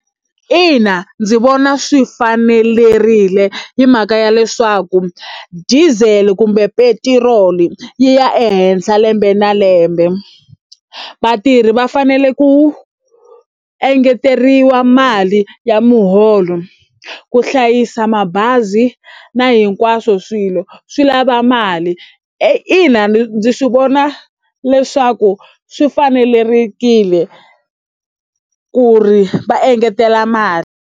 Ina ndzi vona swi fanelerile hi mhaka ya leswaku diesel kumbe petiroli yi ya ehenhla lembe na lembe. Vatirhi va fanele ku engeteriwa mali ya muholo ku hlayisa mabazi na hinkwaswo swilo swi lava mali. Ina ndzi swi vona leswaku swi fanelerile leswaku ri va engetela mali.